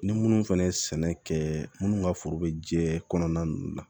Ni minnu fɛnɛ ye sɛnɛ kɛ minnu ka foro be jɛ kɔnɔna nunnu na